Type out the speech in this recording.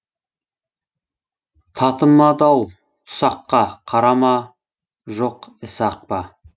татымады ау тұсаққа қара ма жоқ ісі ақ па